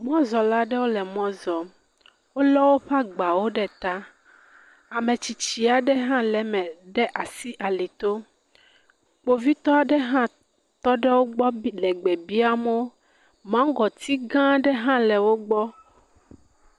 Mɔzɔla aɖewo le mɔ zɔm. wole agbawo ɖe ta. Ame tsitsi aɖe hã le eme ɖe asi alito. Kpovitɔ ɖe hã tɔ ɖe wogbɔ bi le gbe biam wo. Maŋgɔti gã aɖe hã le wogbɔ.